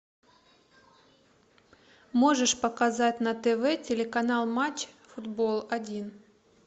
можешь показать на тв телеканал матч футбол один